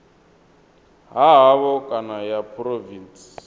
ha havho kana ya phurovintsi